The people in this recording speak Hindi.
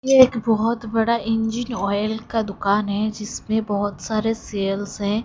ये एक बहोत बड़ा इंजिन ऑइल का दुकान है जिसमें बहोत सारे सेल्स हैं।